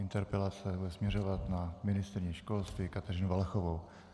Interpelace bude směřovat na ministryni školství Kateřinu Valachovou.